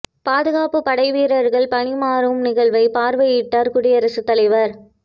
பாதுகாப்புப் படை வீரர்கள் பணி மாறும் நிகழ்வை பார்வையிட்டார் குடியரசுத் தலைவர்